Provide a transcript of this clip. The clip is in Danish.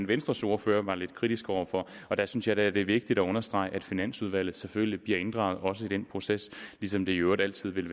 venstres ordfører var lidt kritisk over for og der synes jeg da at det er vigtigt at understrege at finansudvalget selvfølgelig bliver inddraget også i den proces ligesom det i øvrigt altid vil